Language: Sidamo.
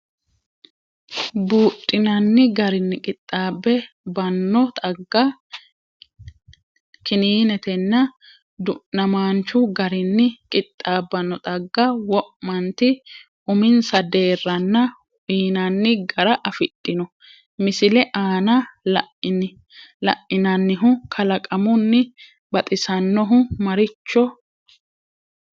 Buudhinanni garinni qixxaab banno xagga, kininetenna du’namaanchu garinni qixxaabbanno xagga wo’manti uminsa deerranna uyinanni gara afidhino, Misile aana la’inannihu kalaqamunni baxisannohu maricho?